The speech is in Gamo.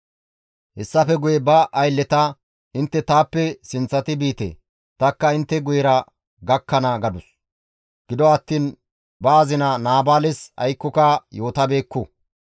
Hessafe guye ba aylleta, «Intte taappe sinththati biite; tanikka intte guyera gakkana» gadus. Gido attiin ba azina Naabaales aykkoka Yootabeekku.